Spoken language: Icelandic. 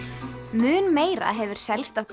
mun meira hefur selst af